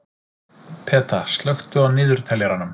Peta, slökktu á niðurteljaranum.